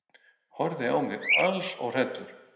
Horfði á mig alls óhræddur.